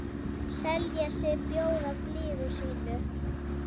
selja sig, bjóða blíðu sínu